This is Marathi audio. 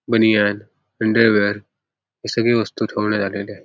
बनियान अंडरवेअर हे सगळे वस्तू ठेवण्यात आलेले आहे.